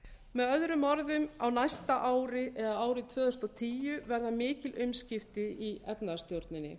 með öðrum orðum á næsta ári eða árið tvö þúsund og tíu verða mikil umskipti í efnahagsstjórninni